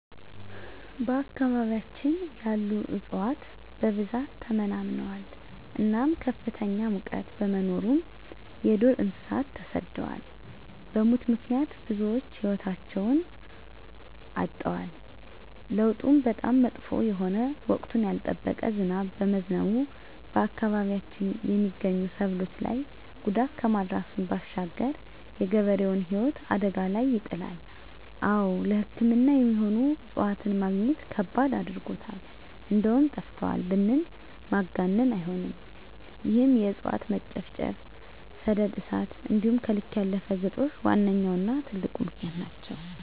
በአካባቢያችን ያሉ እፅዋት በብዛት ተመናምነዋል እናም ከፍተኛ ሙቀት በመኖሩ የዱር እንሰሳት ተሰደዋል በሙት ምክንያት ብዙወች ህይወታቸዉን አጠዋል። ለዉጡም በጣም መጥፎ የሆነ ወቅቱን ያልጠበቀ ዝናብ በመዝነቡ በአካባቢያችን የመገኙ ሰብሎች ላይ ጉዳት ከማድረሱም ባሻገር የገበሬዉን ህይወት አደጋ ላይ ይጥላል። አወ ለሕክምና የሚሆኑ እፅዋትን መግኘት ከባድ አድርጎታል እንደዉም ጠፍተዋል ብንል ማጋነን አይሆንም ይህም የእፅዋት መጨፍጨፍ፣ ሰደድ እሳት እንዲሆም ከልክ ያለፈ ግጦሽ ዋነኛዉና ትልቁ ምክንያት ናቸዉ።